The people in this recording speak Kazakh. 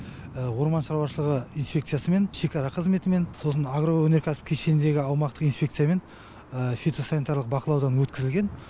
орман шаруашылығы инспекциясымен шекара қызметімен сосын агроөнеркәсіп кешеніндегі аумақтық инспекциямен фитосанитарлық бақылаудан өткізілген